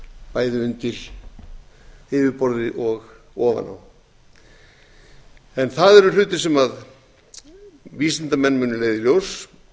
bæði undir yfirborði og ofan á en það eru hlutir sem vísindamenn munu leiða í ljós